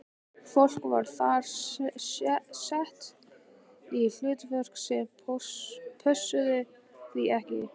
Fólk var þar sett í hlutverk sem pössuðu því ekki.